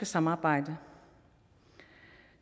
samarbejde